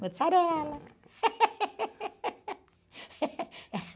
Mozzarella.